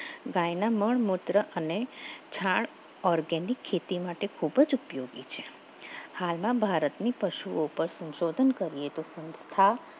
ગાયના મૂળ મૂત્ર અને છાણ ઓર્ગેનિક ખેતી માટે ખૂબ જ ઉપયોગી છે હાલના ભારતની પશુઓ પર સંશોધન કરીએ તો થા